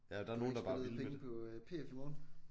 Du har ikke spillet pengene på PF i morgen?